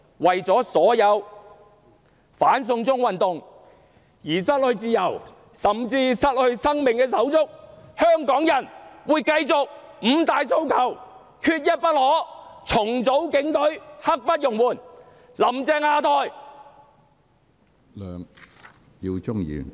為了所有因"反送中"運動而失去自由，甚至失去生命的手足，香港人會繼續高呼："五大訴求，缺一不可"；"重組警隊，刻不容緩"；"'林鄭'下台！